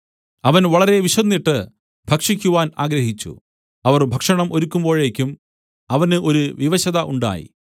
അവൻ വളരെ വിശന്നിട്ട് ഭക്ഷിക്കുവാൻ ആഗ്രഹിച്ചു അവർ ഭക്ഷണം ഒരുക്കുമ്പോഴേക്കും അവന് ഒരു വിവശത ഉണ്ടായി